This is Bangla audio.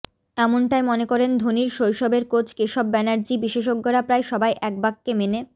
এমনটাই মনে করেন ধোনির শৈশবের কোচ কেশব ব্যানার্জি বিশেষজ্ঞরা প্রায় সবাই এক বাক্যে মেনে